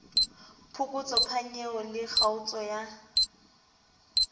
phokotso phanyeho le kgaotso ya